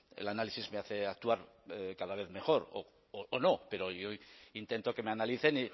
el análisis me hace actuar cada vez mejor o no pero yo intento que me analicen